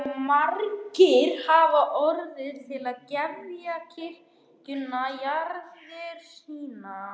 Og margir hafa orðið til að gefa kirkjunni jarðir sínar.